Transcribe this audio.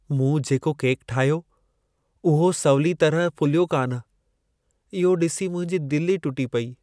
मूं जेको केक ठाहियो, उहो सवलीअ तरह फुलियो कान। इहो डि॒सी मुंहिंजी दिलि ई टुटी पेई।